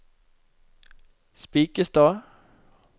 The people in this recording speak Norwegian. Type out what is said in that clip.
Spikkestad